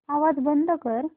आवाज बंद कर